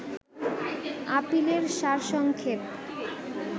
আপিলের সার সংক্ষেপ